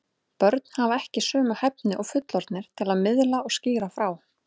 Börn hafa ekki sömu hæfni og fullorðnir til að miðla og skýra frá.